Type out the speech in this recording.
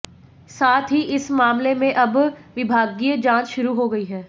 साथ ही इस मामले में अब विभागीय जांच शुरू हो गई है